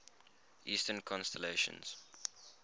eastern constellations